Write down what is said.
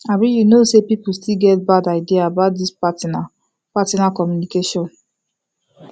abi you know say people still get bad idea about this partner partner communication